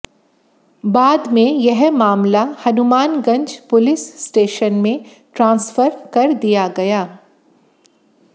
बाद में यह मामला हनुमानगंज पुलिस स्टेशन में ट्रांसफर कर दिया गया